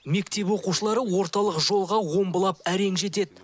мектеп оқушылары орталық жолға омбылап әрең жетеді